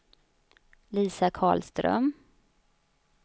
Lisa Karlström